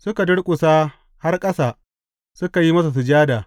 Suka durƙusa har ƙasa, suka yi masa sujada.